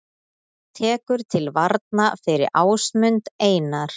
Tekur til varna fyrir Ásmund Einar